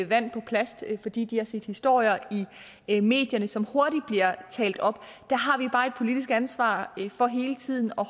vand på plast fordi de har set historier i medierne som hurtigt bliver talt op der har vi bare et politisk ansvar for hele tiden at